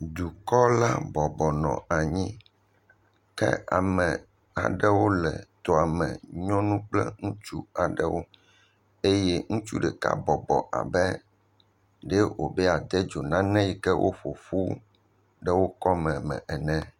Dukɔla bɔbɔnɔ anyi ke ame aɖewo le toa me. Nyɔnu kple ŋutsu aɖewo eye ŋutsu ɖeka bɔbɔ abe ɖee wobe yeade dzo nane yi ke woƒoƒu ɖe wokɔme ene.